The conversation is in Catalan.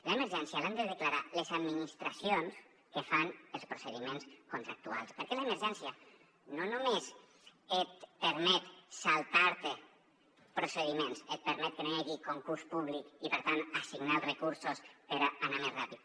l’emergència l’han de declarar les administracions que fan els procediments contractuals perquè l’emergència no només et permet saltar te procediments et permet que no hi hagi concurs públic i per tant assignar els recursos per anar més ràpid